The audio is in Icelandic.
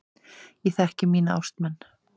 Ég þekki mína ástmenn.